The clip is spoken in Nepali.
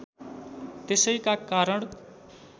त्यसैका कारण